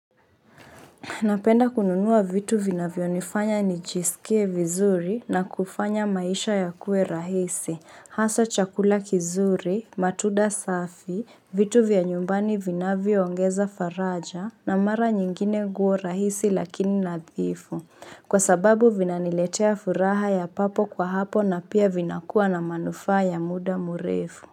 Napenda kununua vitu vina vyonifanya ni jisikie vizuri na kufanya maisha ya kue rahisi. Hasa chakula kizuri, matunda safi, vitu vya nyumbani vina viongeza faraja na mara nyingine nguo rahisi lakini nadhifu. Kwa sababu vina niletea furaha ya papo kwa hapo na pia vinakua na manufaa ya muda mrefu.